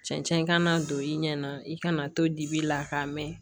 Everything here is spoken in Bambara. Cɛncɛn kana don i ɲɛ na i kana to dibi la k'a mɛn